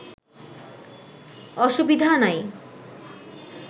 অসুবিধা নাই